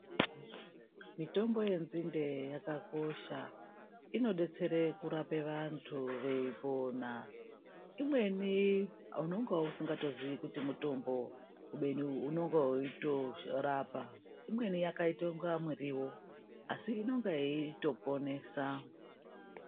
Mitombo yenzinde yakakosha. Inodetsere kurape vantu veipona. Imweni unonga usingatozii kuti mutombo, kubeni unonga weitorapa. Imweni yakaita unga muriwo, asi inenga yeitoponesa.